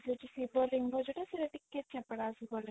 ସେଠି ଶିବ ଲିଙ୍ଗ ସେଇଟା ଟିକେ ଶିବ ଲିଙ୍ଗ